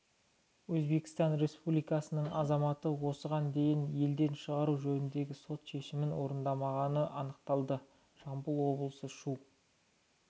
өзбекстан республикасының азаматы осыған дейін елден шығару жөніндегі сот шешімін орындамағаны анықталды жамбыл облысы шу